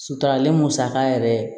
Suturalen musaka yɛrɛ